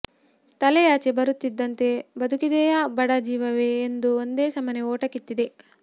ತಲೆ ಆಚೆ ಬರುತ್ತಿದ್ದಂತೆ ಬದುಕಿದೆಯಾ ಬಡ ಜೀವವೇ ಎಂದು ಒಂದೆ ಸಮನೇ ಓಟ ಕಿತ್ತಿದೆ